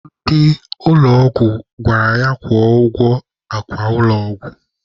Ndị ụlọ ọgwụ gwara ya kwụọ ụgwọ akwa ụlọ ọgwụ.